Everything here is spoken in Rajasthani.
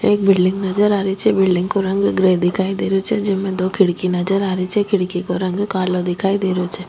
एक बिल्डिंग नजर आ रही छे बिल्डिंग को रंग ग्रे दिखाई दे रहियो छे जेमे दो खिड़की नजर आ रही छे खिड़की को रंग कालो दिखाई दे रहियो छे।